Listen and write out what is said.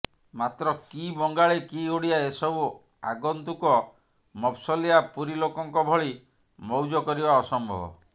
ମାତ୍ର କି ବଙ୍ଗାଳୀ କି ଓଡିଆ ଏସବୁ ଆଗନ୍ତୁକ ମଫସଲିଆ ପୁରୀ ଲୋକଙ୍କ ଭଳି ମଉଜ କରିବା ଅସମ୍ଭବ